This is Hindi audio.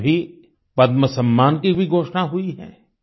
देश में अभी पद्म सम्मान की भी घोषणा हुई है